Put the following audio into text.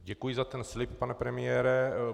Děkuji za ten slib, pane premiére.